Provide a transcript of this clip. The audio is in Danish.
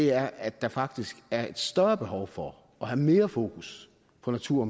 er at der faktisk er et større behov for at have mere fokus på natur